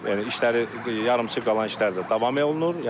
Yəni işləri yarımçıq qalan işlər də davam olunur.